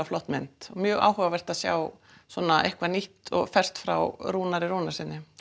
flott mynd mjög áhugavert að sjá svona eitthvað nýtt og fersk frá Rúnari Rúnarssyni